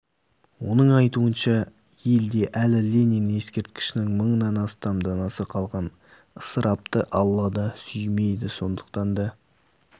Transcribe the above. оның айтуынша елде әлі ленин ескерткішінің мыңнан астам данасы қалған ысырапты алла да сүймейді сондықтан да